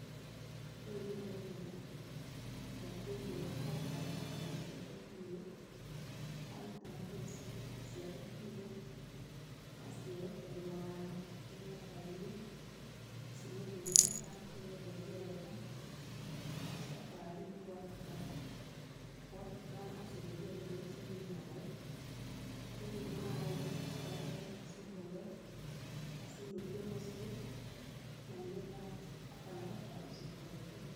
Ũyũ nĩ mũndũ ũkĩire aruta mbũri ciake kĩugo, aruta mbũri ciake kĩugo acierekeria [uhh]gĩthaka-inĩ cirĩe kũu gĩthaka nĩgetha irĩe wega, acoka rĩũ nĩ gwatuka, gwatuka acigerie rũĩ cinyue maĩ, cianyua maĩ, acoke acihũre acinũkie mũciĩ na nĩgetha akanahote gũcirũta rĩngĩ rũcio.